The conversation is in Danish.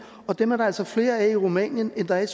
og dem er der altså flere af i rumænien end der er i